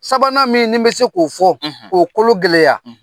Sabanan min nin bɛ se k'o fɔ k'o kolo gɛlɛya